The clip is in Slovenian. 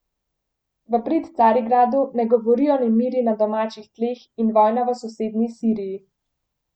V prid Carigradu ne govorijo nemiri na domačih tleh in vojna v sosednji Siriji.